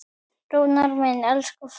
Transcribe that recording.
Rúnar minn, elsku frændi.